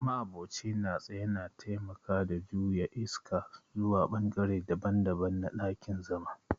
ma'aboci na tsaye na taimaka da juya iska zuwa bangare daban-daban na dakin-zama.